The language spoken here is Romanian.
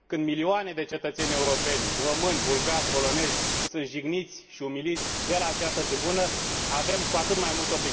Când milioane de cetățeni europeni, români, bulgari, polonezi, sunt jigniți și umiliți de la această tribună, avem cu atât mai mult obligația să luăm atitudine și să sancționăm astfel de declarații.